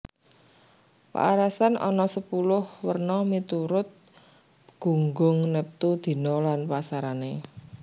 Paarasan ana sepuluh werna miturut gunggung neptu dina lan pasarané